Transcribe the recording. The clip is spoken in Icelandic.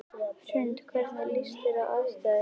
Hrund: Hvernig líst þér á aðstæður?